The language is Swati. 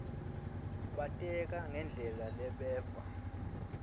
bateka ngendlela lebeva